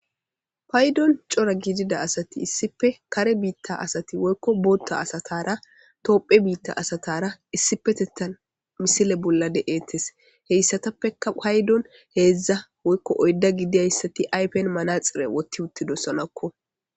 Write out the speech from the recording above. paydon cora gidida asati issipe kare biitta asati woykko bootta asatara toophe biitta asatara issipetettan misile bolla de7eettes heyssatappeka paydon heedzdza woykko oydda gidiyayssati aypen manaxire wotti uttidossanakko